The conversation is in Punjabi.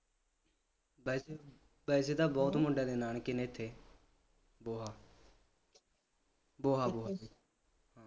ਵੈਸੇ ਵੈਸੇ ਤਾਂ ਬਹੁਤ ਮੁੰਡਿਆ ਦੇ ਨਾਨਕੇ ਨੇ ਇਥੇ ਬੋਹਾ ਬੋਹਾ ਬੋਹਾ